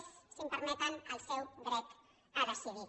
és si m’ho permeten el seu dret a decidir